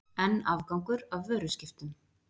Enn afgangur af vöruskiptum